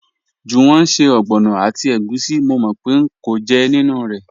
Juwọn n ṣẹ̀ ọgbọnọ àti ègùsí, mò mò pẹ̀ ń kọ̀ jẹ́ nínu rẹ́.